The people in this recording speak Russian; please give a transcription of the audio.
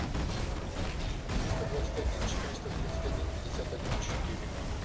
триста двадцать один четыреста тридцать один пятьдесят один четыре